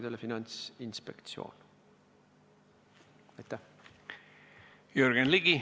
Jürgen Ligi, palun!